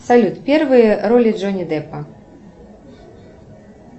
салют первые роли джонни депа